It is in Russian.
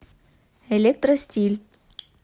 электростиль